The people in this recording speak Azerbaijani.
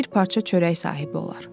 Bir parça çörək sahibi olar.